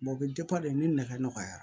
o bɛ de nɛgɛ nɔgɔya